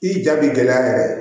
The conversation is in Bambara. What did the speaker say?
I ja bi gɛlɛya yɛrɛ